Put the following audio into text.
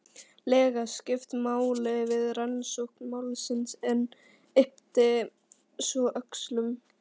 lega skipt máli við rannsókn málsins en yppti svo öxlum.